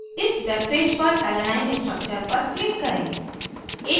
इस webpage पर alanine alanine structure पर click करें